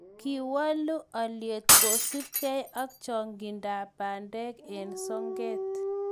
kiwoolu olyet kosupkei ak chong'indab bandek eng soket